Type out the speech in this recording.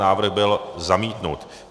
Návrh byl zamítnut.